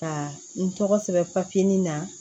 Ka n tɔgɔ sɛbɛn papiye na